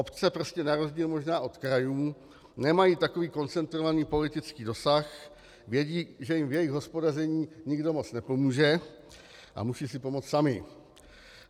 Obce prostě na rozdíl možná od krajů nemají takový koncentrovaný politický dosah, vědí, že jim v jejich hospodaření nikdo moc nepomůže, a musí si pomoct samy.